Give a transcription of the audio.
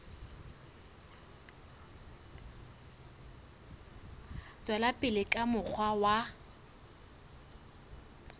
tswela pele ka mokgwa wa